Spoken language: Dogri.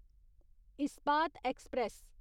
इस्पात एक्सप्रेस